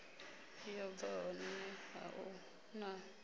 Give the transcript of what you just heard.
yo bva honeha hu na